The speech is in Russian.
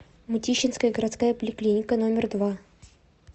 мытищинская городская поликлиника номер два